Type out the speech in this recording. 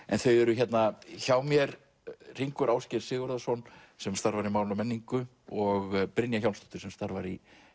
en þau eru hérna hjá mér Hringur Ásgeir Sigurðarson sem starfar hjá máli og menningu og Brynja Hjálmsdóttir sem starfar í